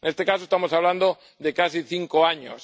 En este caso, estamos hablando de casi cinco años.